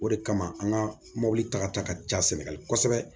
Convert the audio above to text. O de kama an ka mɔbili ta ka taa ka ca sɛnɛgali kosɛbɛ